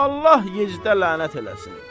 Allah Yezidə lənət eləsin!